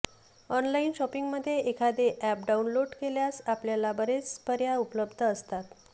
online शॉपिंगमध्ये एखादे app download केल्यास आपल्याला बरेच पर्याय उपलब्ध असतात